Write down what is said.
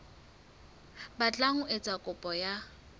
batlang ho etsa kopo ya